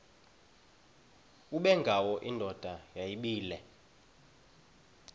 ubengwayo indoda yayibile